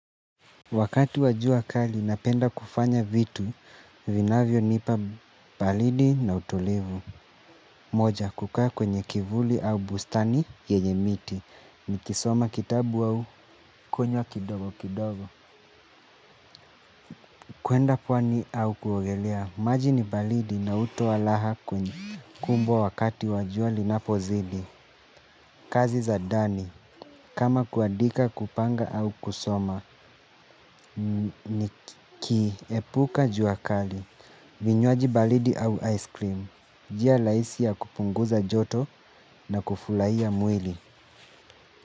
Wakati wa jua kali napenda kufanya vitu, vinavyo nipa balidi na utulivu. Moja kukaa kwenye kivuli au bustani yenye miti, ni kisoma kitabu au kunywa kidogo kidogo. Kwenda pwani au kuogelea maji ni baridi na hutoa raha kubwa wakati wa jua linapozidi. Kazi za dani, kama kuadika kupanga au kusoma, ni kiepuka jua kali. Vinywaji balidi au ice cream jia laisi ya kupunguza joto na kufulaia mwili.